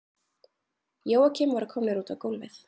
Jóakim voru komnir út á gólfið.